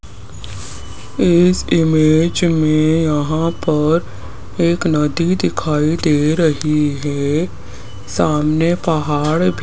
इस इमेज में यहां पर एक नदी दिखाई दे रही है सामने पहाड़ भी --